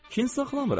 Kin saxlamıram.